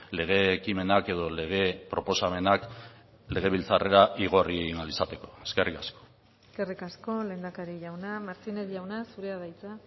lege ekimenak edo lege proposamenak legebiltzarrera igorri egin ahal izateko eskerrik asko eskerrik asko lehendakari jauna martínez jauna zurea da hitza